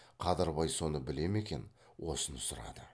қадырбай соны біле ме екен осыны сұрады